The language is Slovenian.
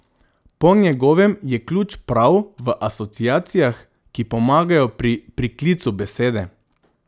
Po njegovem je ključ prav v asociacijah, ki pomagajo pri priklicu besede.